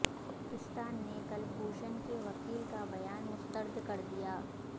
پاکستان نے کلبھوشن کے وکیل کا بیان مسترد کر دیا